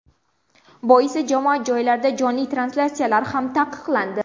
Boisi jamoat joylarida jonli translyatsiyalar ham taqiqlandi.